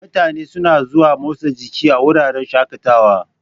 Mutane suna zuwa motsa jiki a wuraren shaƙatawa.